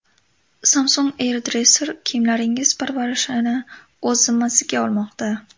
Samsung AirDresser kiyimlaringiz parvarishini o‘z zimmasiga olmoqda.